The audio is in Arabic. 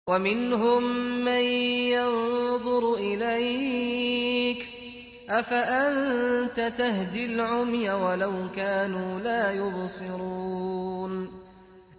وَمِنْهُم مَّن يَنظُرُ إِلَيْكَ ۚ أَفَأَنتَ تَهْدِي الْعُمْيَ وَلَوْ كَانُوا لَا يُبْصِرُونَ